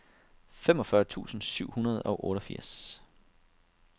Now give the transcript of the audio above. femogfyrre tusind syv hundrede og otteogfirs